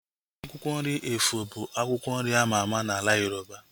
Akwụkwọ nri efọ bụ akwụkwọ nri ama ama n'ala Yoroba